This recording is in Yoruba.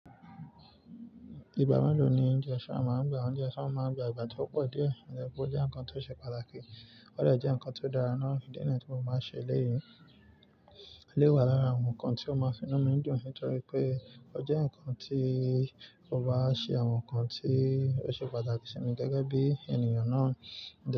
Ìgbà mélòó ni oúnjẹ ṣába máa ń gba? Oúnjẹ ṣán máa ń gba ìgbà tí ó pọ̀ díẹ̀, nítorí pé ó jẹ́ nǹkan tí ó ṣe pàtàkì, ó dẹ̀ jẹ́ nǹkan tí ó dára náà idí niyen tí mo máa ń ṣe lẹ́yìn. Ó lé wà lára àwọn nǹkan tí ó máa ń finú mi jù, nítorí pé ó jẹ́ nǹkan tí ó bá ṣe àwọn nǹkan tí ó ṣe pàtàkì sí mi gẹ́gẹ́ bí ènìyàn náà. Òde.